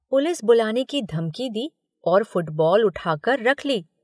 Police बुलाने की धमकी दी और फुटबॉल उठाकर रख ली।